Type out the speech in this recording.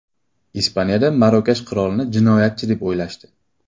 Ispaniyada Marokash qirolini jinoyatchi deb o‘ylashdi.